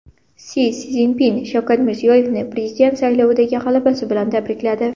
Si Szinpin Shavkat Mirziyoyevni prezident saylovidagi g‘alabasi bilan tabrikladi.